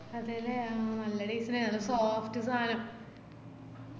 അതെല്ലേ അഹ് നല്ല taste ഇണ്ട് നല്ല soft സാനം